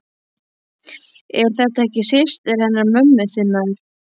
Er þetta ekki systir hennar mömmu þinnar?